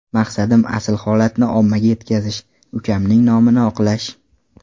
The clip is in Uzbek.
Maqsadim asl holatni ommaga yetkazish, ukamning nomini oqlash.